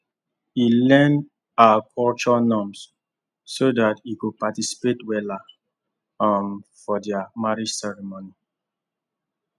e learn her culture norms so that he go participate weller um for their marriage ceremony